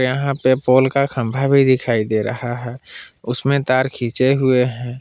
यहां पे पोल खम्भा भी दिखाई दे रहा है उसमें तार खींचे हुए हैं।